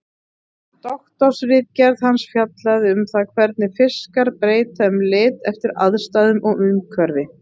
Doktorsritgerð hans fjallaði um það hvernig fiskar breyta um lit eftir aðstæðum og umhverfi.